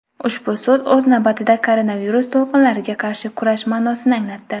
Ushbu so‘z o‘z navbatida koronavirus to‘lqinlariga qarshi kurash ma’nosini anglatdi.